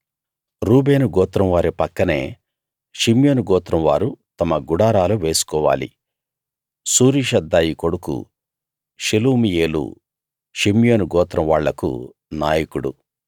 రూబేను గోత్రం వారి పక్కనే షిమ్యోను గోత్రం వారు తమ గుడారాలు వేసుకోవాలి సూరీషద్దాయి కొడుకు షెలుమీయేలు షిమ్యోను గోత్రం వాళ్లకు నాయకుడు